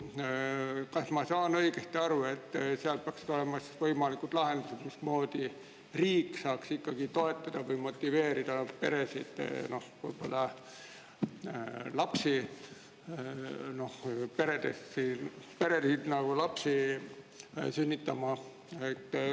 Kas ma saan õigesti aru, et selles analüüsis peaksid olema siis võimalikud lahendused, mismoodi riik saab toetada või motiveerida peresid lapsi sünnitama?